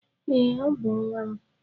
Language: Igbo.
Ee, Ọ bú nwam